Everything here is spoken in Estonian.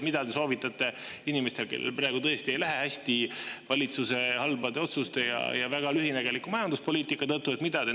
Mida te soovitate inimestele, kellel praegu tõesti ei lähe hästi valitsuse halbade otsuste ja väga lühinägeliku majanduspoliitika tõttu?